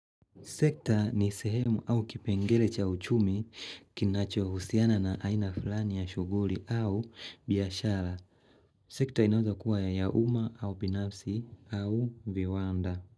Sekta ni sehemu au kipengele cha uchumi kinacho husiana na aina fulani ya shughuli au biashara. Sekta inaeza kua ya umma au binafsi au viwanda.